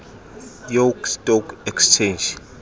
york stock exchange